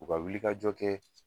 U ka wilikajɔ kɛ